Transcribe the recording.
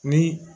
Ni